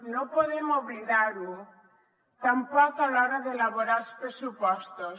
no podem oblidar ho tampoc a l’hora d’elaborar els pressupostos